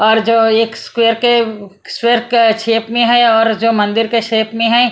और जो एक स्क्वैयर के स्क्वैयर के शेप में है और जो मंदिर के शेप में हैं।